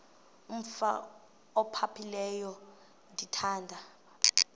umf ophaphileyo ndithanda